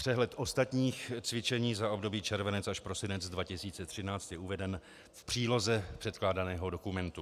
Přehled ostatních cvičení za období červenec až prosinec 2013 je uveden v příloze předkládaného dokumentu.